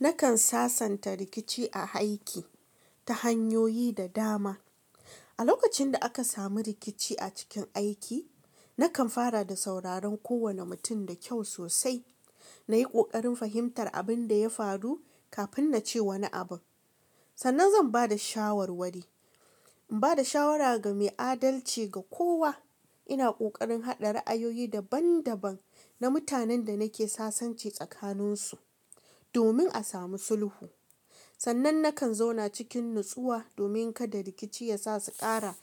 Nakan sasanta rikici a aiki ta hanyoyi da dama. A lokacin da aka samu rikici a cikin aiki, nakan fara da sauraron kowane mutum da kyau sosai. Na yi ƙoƙarin fahimtar abin da ya faru kafin na ce wani abu. Sannan zan ba da shawarwari. In ba da shawara ga mai adalci ga kowa. Ina ƙoƙarin haɗa ra'ayoyi daban-daban na mutanen da nake sasanci tsakaninsu domin a samu sulhu. Sannan nakan zauna cikin natsuwa domin kada rikici yasa su ƙara